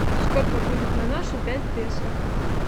сколько будет на наши пять песо